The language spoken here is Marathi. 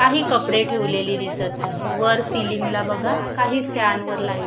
काही कपडे ठेवलेले दिसत आहे वर सिलिंग ला बघा काही फॅन व लाईट--